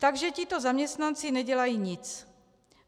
Takže tito zaměstnanci nedělají nic.